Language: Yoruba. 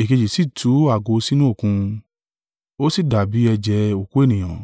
Èkejì sì tú ago sínú Òkun; ó sì dàbí ẹ̀jẹ̀ òkú ènìyàn,